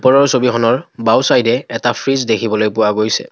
ওপৰৰ ছবিখনৰ বাওঁ ছাইদে এটা ফ্ৰিজ দেখিবলৈ পোৱা গৈছে।